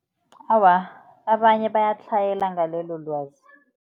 Awa, abanye bayatlhayela ngalelo lwazi.